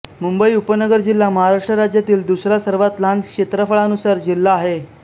मुंबई उपनगर जिल्हा महाराष्ट्र राज्यातील दुसरा सर्वात लहान क्षेत्रफळानुसार जिल्हा आहे